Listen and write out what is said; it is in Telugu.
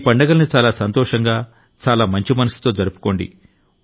ఈ పండుగల్ని చాలా సంతోషంగా చాలా మంచి మనసుతో జరుపుకోండి